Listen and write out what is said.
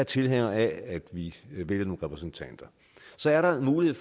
tilhænger af at vi vælger nogle repræsentanter så er der nogle